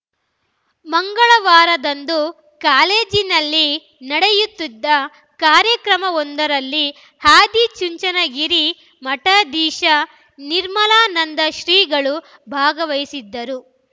ಮಂಗಳವಾರದಂದು ಕಾಲೇಜಿನಲ್ಲಿ ನಡೆಯುತ್ತಿದ್ದ ಕಾರ್ಯಕ್ರಮವೊಂದರಲ್ಲಿ ಆದಿಚುಂಚನಗಿರಿ ಮಠಾಧೀಶ ನಿರ್ಮಲಾನಂದ ಶ್ರೀಗಳು ಭಾಗವಹಿಸಿದ್ದರು